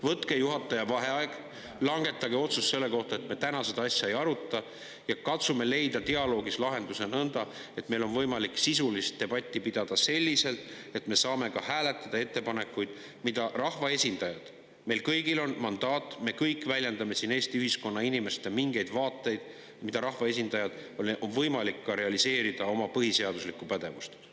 Võtke juhataja vaheaeg, langetage otsus selle kohta, et me täna seda asja ei aruta, ja katsume leida dialoogis lahenduse nõnda, et meil on võimalik sisulist debatti pidada selliselt, et me saame ka hääletada ettepanekute üle, et rahvaesindajail – meil kõigil on mandaat, me kõik väljendame siin Eesti ühiskonna inimeste mingeid vaateid – oleks võimalik realiseerida oma põhiseaduslikku pädevust.